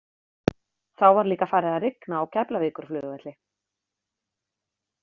Þá var líka farið að rigna á Keflavíkurflugvelli.